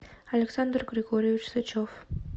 александр григорьевич сычев